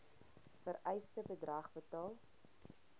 vereiste bedrag betaal